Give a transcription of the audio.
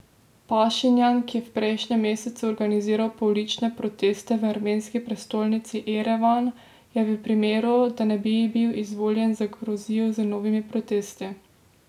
Pašinjan, ki je prejšnji mesec organiziral poulične proteste v armenski prestolnici Erevan, je v primeru, da ne bi bil izvoljen, zagrozil z novimi protesti.